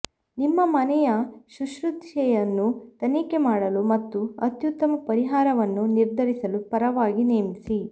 ನಿಮ್ಮ ಮನೆಯ ಶುಶ್ರೂಷೆಯನ್ನು ತನಿಖೆ ಮಾಡಲು ಮತ್ತು ಅತ್ಯುತ್ತಮ ಪರಿಹಾರವನ್ನು ನಿರ್ಧರಿಸಲು ಪರವಾಗಿ ನೇಮಿಸಿ